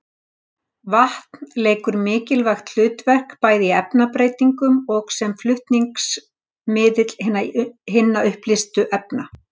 Vatn leikur mikilvægt hlutverk bæði í efnabreytingunum og sem flutningsmiðill hinna uppleystu efna.